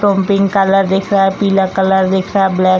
to pink colour दिख रहा है पीला कलर दिख रहा है ब्लैक --